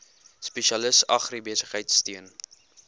spesialis agribesigheid steun